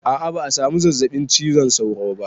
A'a ba a samu zazzaɓin cizon sauro ba